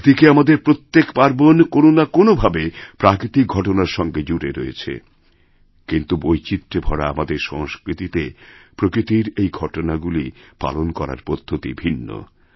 একদিকে আমাদের প্রত্যেক পার্বণ কোনও না কোনভাবে প্রাকৃতিকঘটনার সঙ্গে জুড়ে রয়েছে কিন্তু বৈচিত্র্যে ভরা আমাদের সংস্কৃতিতে প্রকৃতির এইঘটনাগুলি পালন করার পদ্ধতি ভিন্ন